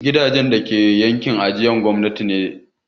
Gidajen dake yankin ajiyar gwamnati suna da tsada.